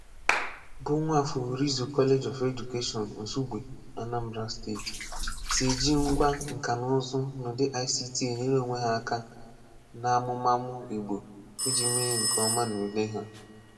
Bụ̀ Nwafor Orizu College of Education, Nsúgbè, Anambra State, sị eji ngwá nka na ụ̀zụ́ n’údì ICT enyèrè onwe ha aka n’ámúmàmù Ìgbò iji mee nke ọ́ma n’ùlé ha.